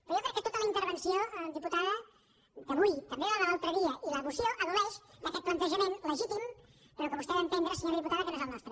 però jo crec que tota la intervenció diputada d’avui també la de l’altre dia i la moció pateixen d’aquest plantejament legítim però que vostè ha d’entendre senyora diputada que no és el nostre